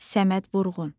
Səməd Vurğun.